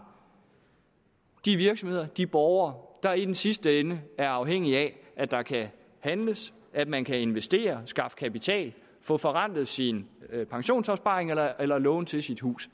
de virksomheder de borgere der i den sidste ende er afhængige af at der kan handles at man kan investere skaffe kapital få forrentet sin pensionsopsparing eller eller låne til sit hus